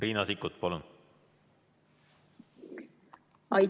Riina Sikkut, palun!